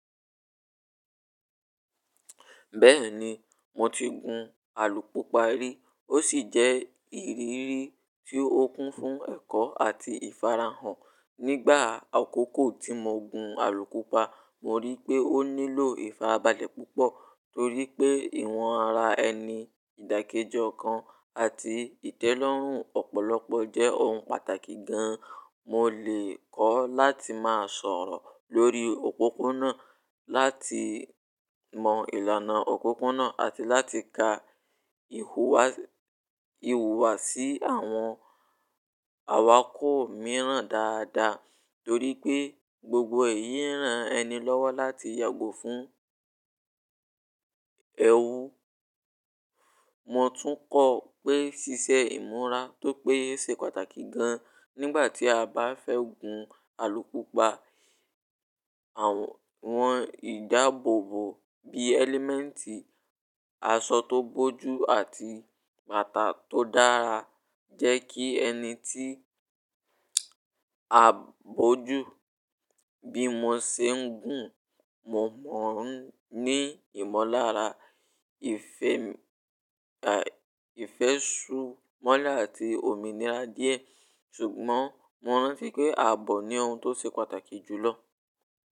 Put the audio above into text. Bẹ́ẹ̀ni, mo ti gun alùpùpa rí ó sì jẹ́ ìrírí tí ó kún fún ẹ̀kọ́ àti ìfarahàn. Nígbà àkókò tí mo gun alùpùpa, mo rí pé ó nílò ìfarabalẹ̀ púpọ̀ torí pé ìwọ̀n ara ẹni, ìdàkejọ kan àti ìtẹ́lọ́rùn ọ̀pọ̀lọpọ̀ jẹ́ ohun pàtàkì gan-an. Mo lè kọ́ láti máa sọ̀rọ̀ lórí òpópónà, láti mọ ìlànà òpópónà àti láti ka ìhùwàsí àwọn awakọ̀ mìíràn dáadáa torí pé gbogbo èyí ń ran ẹni lọ́wọ́ láti yàgò fún ẹrú. Mo tún kọ́ pé ṣíṣe ìmúra tò pé ṣe pàtàkì gan nígbà tí a bá fẹ́ gun alùpùpa. Àwọn ìdáàbòbò bí ẹlẹ́mẹ̀ǹtì àsọ̀ tó bójú àti bàtà tó dára jẹ́ kí ẹni tí a bójú bí mo ṣe ń gun. Mo mọ̀ ní ìmọ̀lára ìfẹ́ṣùnmọ́lá àti òmìnira díẹ̀ ṣùgbọ́n mo rántí pé ààbò ni ohun tó ṣe pàtàkì jù lọ.